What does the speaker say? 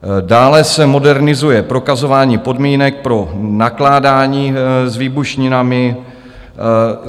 Dále se modernizuje prokazování podmínek pro nakládání s výbušninami.